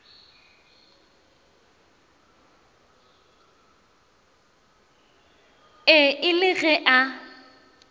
ee e le ge a